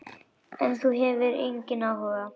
En ef þú hefur áhuga.